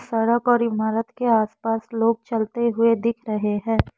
सड़क और इमारत के आस पास लोग चलते हुए दिख रहे हैं।